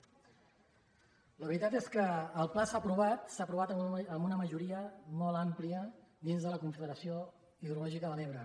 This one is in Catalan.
la veritat és que el pla s’ha aprovat amb una majoria molt àmplia dins de la confederació hidrològica de l’ebre